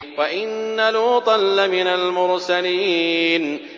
وَإِنَّ لُوطًا لَّمِنَ الْمُرْسَلِينَ